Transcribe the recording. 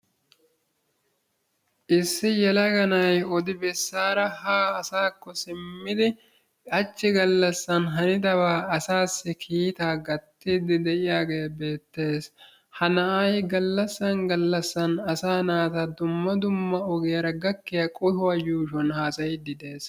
issi yelaga na'ay odibesaara haa simmidi hachi galassan hanidabaa asaassi kiittaa atiidi beetees; ha na'ay galassan galassan asaa naata dumma dumma qohuwa yuushuwan haasayiidi de'ees.